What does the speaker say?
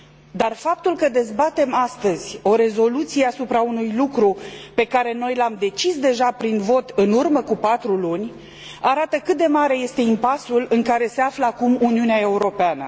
Dar faptul că dezbatem astăzi o rezoluție asupra unui lucru pe care noi l am decis deja prin vot în urmă cu patru luni arată cât de mare este impasul în care se află acum Uniunea Europeană.